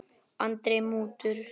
Andri: Mútur?